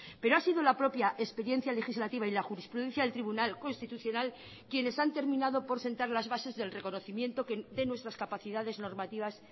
pero ha sido la propia experiencia legislativa y la jurisprudencia del tribunal constitucional quienes han terminado por sentar las bases del reconocimiento de nuestras capacidades normativas